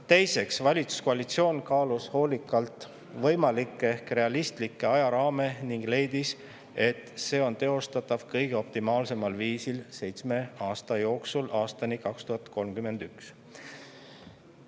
Teiseks, valitsuskoalitsioon kaalus hoolikalt võimalikke ehk realistlikke ajaraame ning leidis, et see on teostatav optimaalsel viisil seitsme aasta jooksul, aastani 2031.